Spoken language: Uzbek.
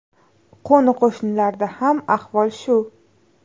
Qo‘ni-qo‘shnilarda ham ahvol shu.